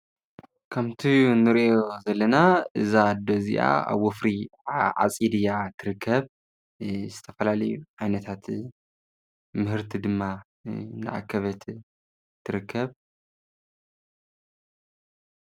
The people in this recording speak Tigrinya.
ከምቲ ንርእዮ ዘለና እዛ ኣዶ እዚኣ ኣብ ወፍሪ ዓፂድ እያ ትርከብ፡፡ ዝተፈላለዩ ዓይነታት ምህርቲ ድማ እናኣከበት ትርከብ፡፡